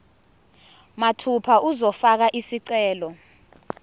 mathupha uzofaka isicelo